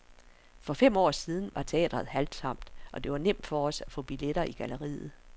For fem år siden var teatret halvtomt, og det var nemt for os at få billetter i galleriet.